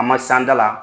A ma san da la